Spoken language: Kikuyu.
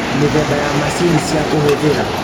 Mĩthemba ya macini cia kũhũthĩra